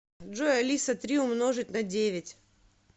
джой алиса три умножить на девять